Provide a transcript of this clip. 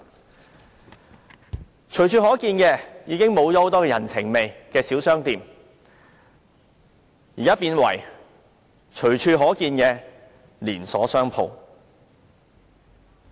很多本來隨處可見、富人情味的小商店已經消失，改為隨處可見的連鎖商店。